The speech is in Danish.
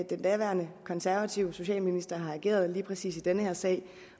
den daværende konservative socialminister har ageret i præcis den her sag